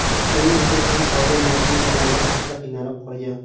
Shuning uchun ham oila moddiy tomondan ancha qiynalib qolgan.